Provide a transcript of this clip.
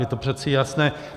Je to přece jasné.